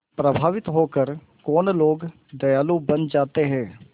प्रभावित होकर कौन लोग दयालु बन जाते हैं